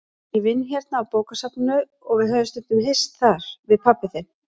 Ég vinn hérna á bókasafninu og við höfum stundum hist þar, við pabbi þinn.